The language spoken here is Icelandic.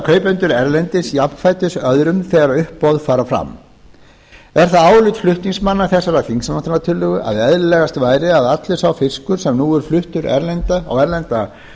kaupendur erlendis jafnfætis öðrum þegar uppboð fara fram er það álit flutningsmanna þessarar þingsályktunartillögu að eðlilegast væri að allur sá fiskur sem nú er fluttur á erlenda